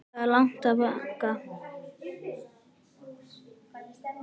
Það er langt í bankann!